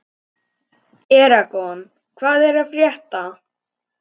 Eragon, hvað er að frétta?